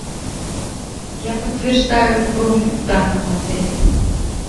я подтверждаю бронь в данном отеле